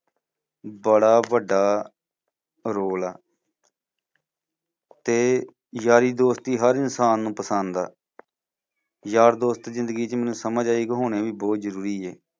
ਬੜਾ ਵੱਡਾ role ਆ ਤੇ ਯਾਰੀ ਦੋਸਤੀ ਹਰ ਇਨਸਾਨ ਨੂੰ ਪਸੰਦ ਆ ਯਾਰ ਦੋਸਤ ਜ਼ਿੰਦਗੀ ਚ ਮੈਨੂੰ ਸਮਝ ਆਈ ਕਿ ਹੋਣੇ ਵੀ ਬਹੁਤ ਜ਼ਰੂਰੀ ਹੈ।